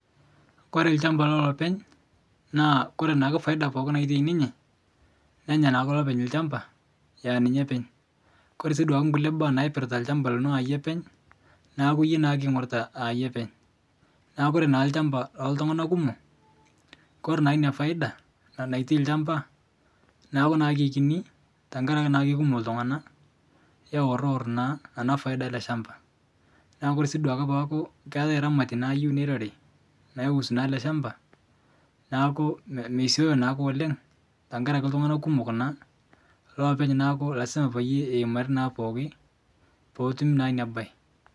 Kore lshamba lolopeny naa Kore naake paida pooki natai ninye nennya naake lopeny lshamba eaninye peny, Kore sii nkule baa naipirta lshamba ninye apeny naaku yie naake oingorita yie apeny kore naa lshamba loltungana kumo kore naa nia paida natai lshamba naaku naa keikini tankaraki naa keikumok ltungana eworor naa ana paida ale lshamba naaku kore sii duake peaku ketae ramati nayeu nerori nausu naa ale lshamba naaku meseyo naake oleng tankaraki ltungana kumok naa lopeny naa lasima payie emarie naa pooki petumi naa nia bae.